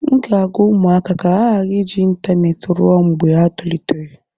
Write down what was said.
M ga-agwa ụmụaka ka ha ghara iji ịntaneetị ruo mgbe ha tolitere